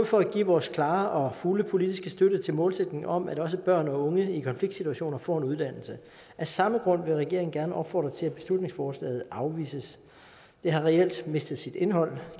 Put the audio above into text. for at give vores klare og fulde politiske støtte til målsætningen om at også børn og unge i konfliktsituationer får en uddannelse af samme grund vil regeringen gerne opfordre til at beslutningsforslaget afvises det har reelt mistet sit indhold